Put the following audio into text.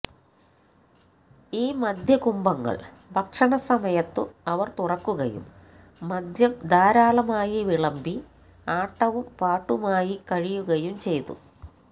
ഈ മദ്യകുംഭങ്ങൾ ഭക്ഷണസമയത്തു അവർ തുറക്കുകയും മദ്യം ധാരാളമായി വിളംബി ആട്ടവും പാട്ടുമായിക്കഴിയുകയും ചെയ്തു